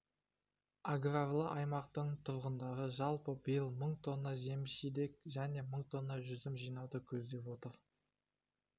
аграрлы аймақтың тұрғындары жалпы биыл мың тонна жеміс-жидек және мың тонна жүзім жинауды көздеп отыр